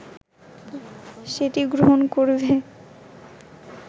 সেটি গ্রহণ করবে